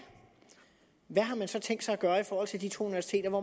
hvad har man så tænkt sig gøre i forhold til de to universiteter